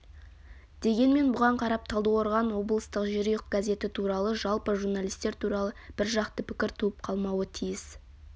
дегенмен бұған қарап талдықорған облыстық жерұйық газеті туралы жалпы журналистер туралы біржақты пікір туып қалмауы тиіс